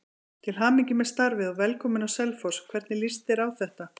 Til hamingju með starfið og velkominn á Selfoss, hvernig lýst þér á þetta?